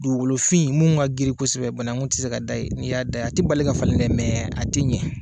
Dugukolofin minnu ka girin kosɛbɛ banakun tɛ se ka da yen, n'i y'a dan a tɛ bali ka falen dɛ, mɛ a tɛ ɲɛ.